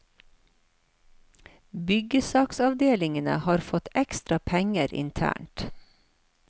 Byggesaksavdelingene har fått ekstra penger internt.